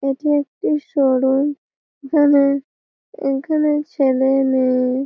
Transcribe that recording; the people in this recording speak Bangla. এটি একটি শোরুম এখানে এইখানে ছেলে-এ মেয়ে-এ--